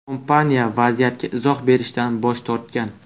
Kompaniya vaziyatga izoh berishdan bosh tortgan.